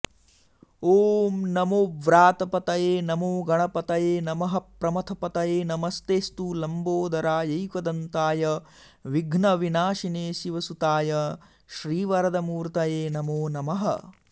ॐ नमो व्रातपतये नमो गणपतये नमः प्रमथपतये नमस्तेऽस्तु लम्बोदरायैकदन्ताय विघ्नविनाशिने शिवसुताय श्रीवरदमूर्तये नमो नमः